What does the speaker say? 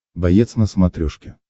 боец на смотрешке